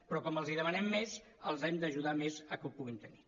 però com els demanem més els hem d’ajudar més a que ho puguin tenir